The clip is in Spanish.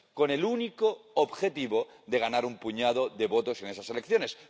Con el único objetivo de ganar un puñado de votos en esas elecciones.